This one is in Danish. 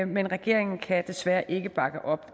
men regeringen kan desværre ikke bakke op